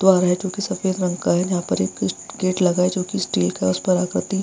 द्वार है जो की सफ़ेद रंग का है यहाँ पर एक गेट लगा है जो की स्टील का है इस पर आकृति --